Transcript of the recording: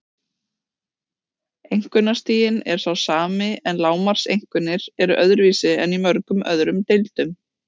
Einkunnastiginn er sá sami en lágmarkseinkunnir eru öðruvísi en í mörgum öðrum deildum.